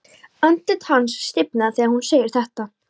Andlit hans stífnar þegar hún segir þetta.